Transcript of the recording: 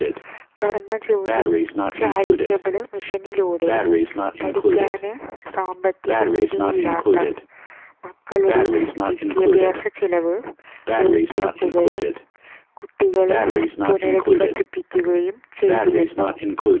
Karmajyothi charitable മിഷനിലൂടെ പഠിക്കാന് സാമ്പത്തികസ്ഥിതിയില്ലാത്ത മക്കളുടെ വിദ്യാഭ്യാസ ചിലവ് ഏറ്റെടുക്കുകയും കുട്ടികളെ പുനഃരധിവസിപ്പിക്കുകയും ചെയ്തിരുന്നു